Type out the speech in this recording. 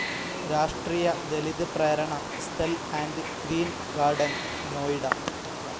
രാഷ്ട്രീയ Dalit Prerna Sthal and green garden, Noida